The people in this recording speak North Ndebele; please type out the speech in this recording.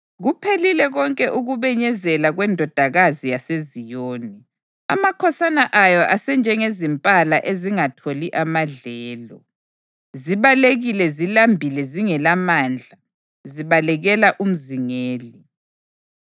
Kuphelile konke ukubenyezela kweNdodakazi yaseZiyoni. Amakhosana ayo asenjengezimpala ezingatholi amadlelo; zibalekile zilambile zingelamandla zibalekela umzingeli.